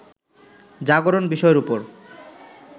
জাগরণ বিষয়ের উপর